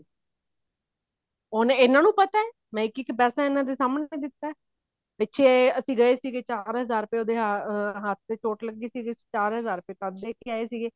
ਉਹ ਇਹਨਾ ਨੂੰ ਪਤਾ ਮੈਂ ਇੱਕ ਇੱਕ ਪਿਸ ਇਹਨਾ ਦੇ ਸਾਹਮਣੇ ਦਿੱਤਾ ਪਿੱਛੇ ਅਸੀਂ ਗਏ ਸੀਗੇ ਉਹਦੇ ਚਾਰ ਹਜ਼ਾਰ ਰੁਪੇ ਉਹਦੇ ਹੱਥ ਤੇ ਚੋਟ ਲੱਗੀ ਸੀਗੀ ਚਾਰ ਹਜ਼ਾਰ ਰੁਪੇ ਤਦ ਦੇ ਕੇ ਆਏ ਸੀਗੇ